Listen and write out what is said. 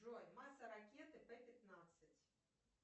джой масса ракеты п пятнадцать